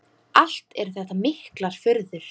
Allt eru þetta miklar furður.